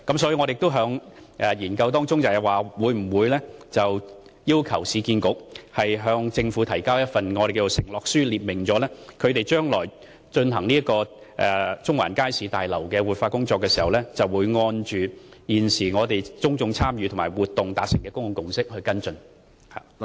所以，我們亦會要求市建局向政府提交一份承諾書，列明將來就中環街市大樓進行活化工作時，會按現時公眾參與活動所達成的公眾共識來跟進各項工作。